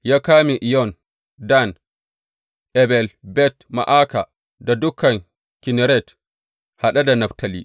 Ya kame Iyon, Dan, Abel Bet Ma’aka da dukan Kinneret, haɗe da Naftali.